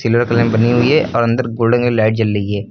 बनी हुई है और अंदर गोल्डन कल की लाइट जल रही है।